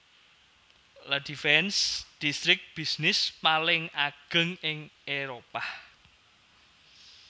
La Défense distrik bisnis paling ageng ing Éropah